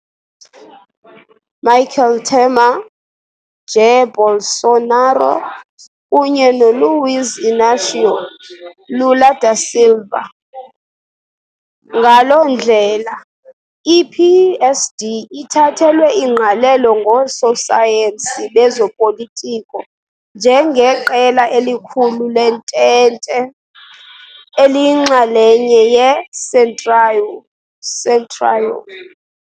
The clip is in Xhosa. Dilma Rousseff, Michel Temer, Jair Bolsonaro, kunye Luiz Inácio Lula da Silva. Ngaloo ndlela, i-PSD ithathelwe ingqalelo ngoososayensi bezopolitiko njengeqela elikhulu lentente, eliyinxalenye "yeCentrão".